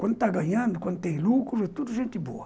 Quando está ganhando, quando tem lucro, é tudo gente boa.